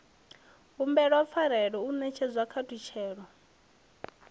humbelwa pfarelo u netshedzwa ṱhalutshedzo